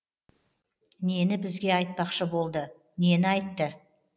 нені бізге айтпақшы болды нені айтты